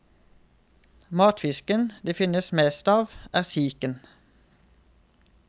Matfisken det finnes mest av, er siken.